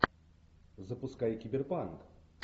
запускай киберпанк